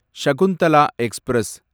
Shakuntala express